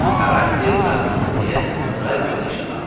Karranti darıxmasın deyə radionu işə saldı.